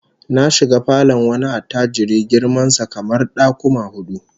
Na shiga falon wani attajiri girman sa kamar dakuma hudu